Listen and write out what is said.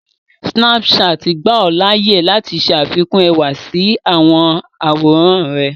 Snapchat gbà ọ láàyè láti ṣẹ àfikún ẹwà sí àwọn àwòrán rẹ̀